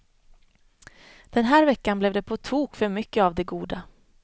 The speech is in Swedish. Den här veckan blev det på tok för mycket av det goda.